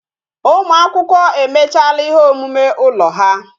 Ụmụ akwụkwọ emechala ihe omume ụlọ ha